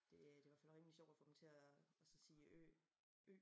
Det øh det i hvert fald rimelig sjovt at få dem til at altså sige Ø Ø